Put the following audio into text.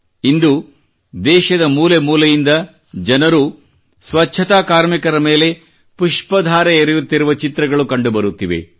ಇಂದು ದೇಶದ ಮೂಲೆ ಮೂಲೆಯಿಂದ ಜನರು ಸ್ವಚ್ಛತಾ ಕಾರ್ಮಿಕರ ಮೇಲೆ ಪುಷ್ಪ ಧಾರೆ ಎರೆಯುತ್ತಿರುವ ಚಿತ್ರಗಳು ಕಂಡು ಬರುತ್ತಿವೆ